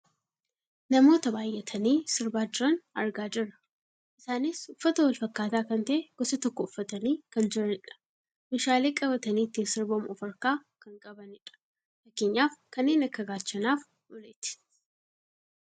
namoota baayyatanii sirbaa jiran argaa jirra. isaanis uffata wal fakkaataa kan ta'e gosa tokko uffatanii kan jiranidha. meeshaalee qabatani ittiin sirbamu of harkaa kan qabanidha . fakkeenyaaf kanneen akka gaachanaaf uleeti.